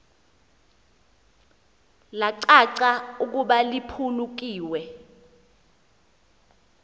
lacaca ukuba liphulukiwe